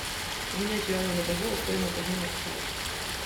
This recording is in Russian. обменять юани на бальбоа стоимость обмена какая